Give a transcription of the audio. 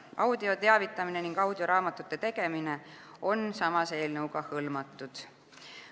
Audioteavitamine ning audioraamatute tegemine on samas eelnõuga hõlmatud.